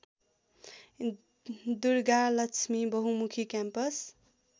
दुर्गालक्ष्मी बहुमुखी क्याम्पस